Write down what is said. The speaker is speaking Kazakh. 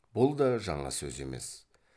бұл да жаңа сөз емес